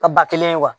A ba kelen ye wa